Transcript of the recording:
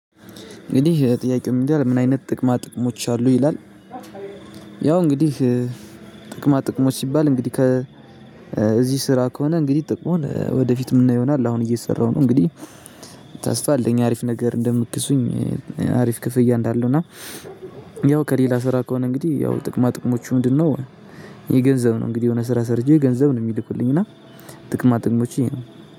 እንግዲህ ጥያቄው ምን ይላል? ምን አይነት ጥቅማ ጥቅሞች አሉ ይላል። ያው እንግዲህ ጥቅማ ጥቅሞች ሲባል እንግዲህ ከዚህ ስራ ከሆነ እንግዲህ ጥቅሙን ወደፊት የምናየው ይሆናል። አሁን እየሰራሁ ነው እንግዲህ። ተስፋ አለኝ አሪፍ ነገር እንደምትክሱኝ። አሪፍ ክፍያ እንዳለው እና ያው ከሌላ ስራ ከሆነ እንግዲህ ያው ጥቅማ ጥቅሞቹ ምንድነው? የገንዘብ ነው እንግዲህ የሆነ ስራ ሰርቼ ገንዘብ ነው የሚልኩልኝ እና። ጥቅማ ጥቅሞች ይሄ ነው።